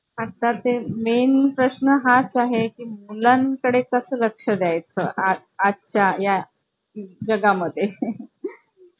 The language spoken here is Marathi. आता ते main प्रश्न हाच आहे की मुलांकडे कसं लक्ष द्यायचं आजच्या जगा मध्ये